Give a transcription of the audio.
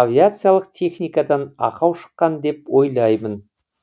авиациялық техникадан ақау шыққан деп ойлаймын